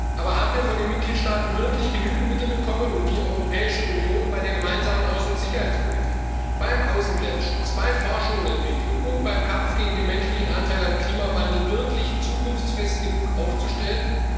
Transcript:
Aber haben wir von den Mitgliedstaaten wirklich genügend Mittel bekommen, um die Europäische Union bei der gemeinsamen Außen und Sicherheitspolitik, beim Außengrenzschutz, bei Forschung und Entwicklung und beim Kampf gegen den menschlichen Anteil am Klimawandel wirklich zukunftsfest genug aufzustellen?